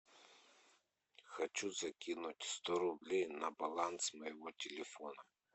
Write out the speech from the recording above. хочу закинуть сто рублей на баланс моего телефона